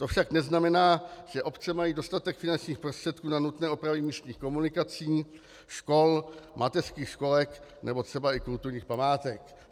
To však neznamená, že obce mají dostatek finančních prostředků na nutné opravy místních komunikací, škol, mateřských školek nebo třeba i kulturních památek.